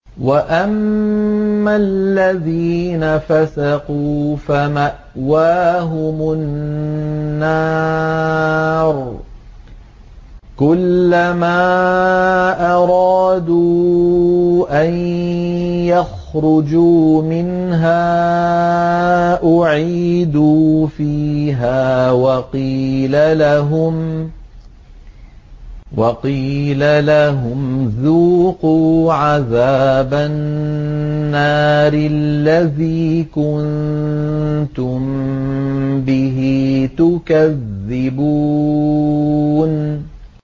وَأَمَّا الَّذِينَ فَسَقُوا فَمَأْوَاهُمُ النَّارُ ۖ كُلَّمَا أَرَادُوا أَن يَخْرُجُوا مِنْهَا أُعِيدُوا فِيهَا وَقِيلَ لَهُمْ ذُوقُوا عَذَابَ النَّارِ الَّذِي كُنتُم بِهِ تُكَذِّبُونَ